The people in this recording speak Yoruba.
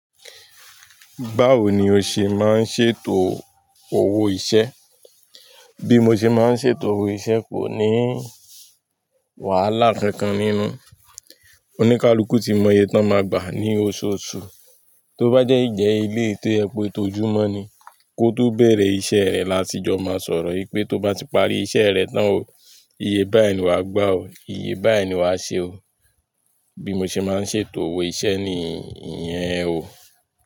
Báwo ni o ṣe máa ń ṣètò owó iṣẹ́? Bí mo ṣe máa ń ṣètò owó iṣẹ́ kò ní wàhálà kankan nínú. Oníkálukú ti mọ iye tán máa gbà ní oṣooṣù. Tó bá jẹ́ ìjẹ́ eléyìí ti ẹpo ètò ojúmọ́ ni, kó tó bẹ̀rẹ̀ iṣẹ́ rẹ lásìjọ máa sọ̀rọ̀ wípé tó bá ti parí iṣẹ́ rẹ tán o, iye báyìí ni wàá gbà o, iye báyìí ni wàá ṣe o. Bí mo ṣe máa ń ṣètò owó iṣẹ́ ni ìyẹn o.